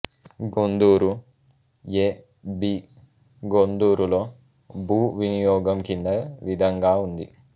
గొందూరు య్ బి గొందూరులో భూ వినియోగం కింది విధంగా ఉంది